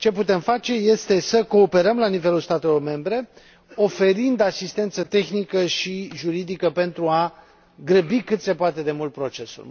Ce putem face este să cooperăm la nivelul statelor membre oferind asistență tehnică și juridică pentru a grăbi cât se poate de mult procesul.